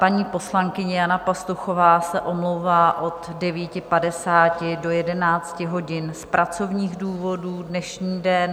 Paní poslankyně Jana Pastuchová se omlouvá od 9.50 do 11 hodin z pracovních důvodů dnešní den.